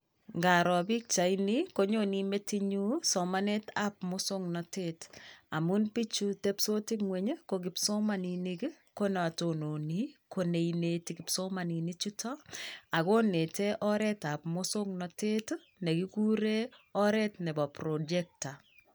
Indaroo pichainii konyonee metinyun somanet ab muswoknotet amun biju tepsoti ngweny ko kipsomaninik ko non tononi koneineti kipsomaninik chutok ako inete oret ab muswoknotet nekikuren oret nebo projector.